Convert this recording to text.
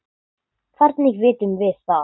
Hvernig vitum við það?